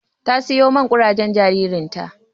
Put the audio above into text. Ta sayo man kurajen jaririn ta.